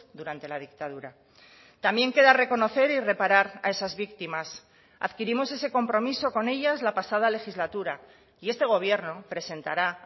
durante la dictadura también queda reconocer y reparar a esas víctimas adquirimos ese compromiso con ellas la pasada legislatura y este gobierno presentará